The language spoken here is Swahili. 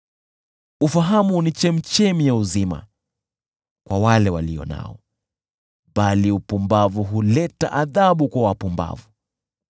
Ufahamu ni chemchemi ya uzima kwa wale walio nao, bali upumbavu huleta adhabu kwa wapumbavu.